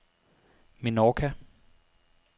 Menorca